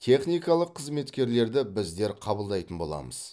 техникалық қызметкерлерді біздер қабылдайтын боламыз